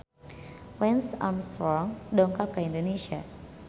Lance Armstrong dongkap ka Indonesia